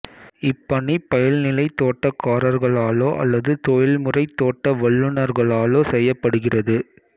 இப்பணி பயில்நிலைத் தோட்டக்காரர்களாலோ அல்லது தொழில்முறைத் தோட்ட வல்லுனர்களாலோ செய்யப்படுகிறது